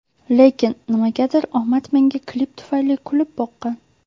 Lekin, nimagadir omad menga klip tufayli kulib boqqan.